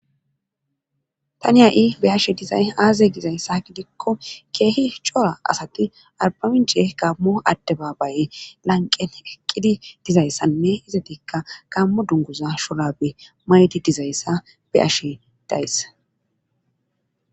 tani a7i beyashe dizay aaze gizayssa gidikko keehi cora asati arbamince gammo adde babaye lanqen eqqidi dizayssanne hizatikka gammo dunguza sholabe maydi dizayssa be ashe dayssa